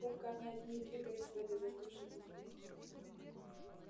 только они одни и двигались в этой застывшей пустыне